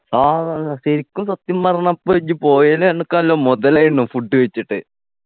ആ ശരിക്കും സത്യം പറഞ്ഞാ അപ്പോ ഇജ്ജ് പോയതിൽ അനക്ക് നല്ല മുതലായിന്നു food കഴിച്ചിട്ട്